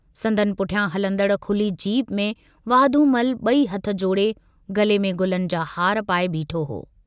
संदनि पुठियां हलंदड़ खुली जीप में वाधूमल बई हथ जोड़े गले में गुलनि जा हार पाए बीठो हो।